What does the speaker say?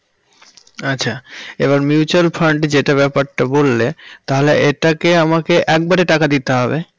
আচ্ছা এবার mutual fund যেটা ব্যাপারটা বললে তাহলে এটা কি আমাকে একবারে টাকা দিতে হবে?